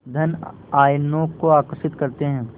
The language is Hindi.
धन आयनों को आकर्षित करते हैं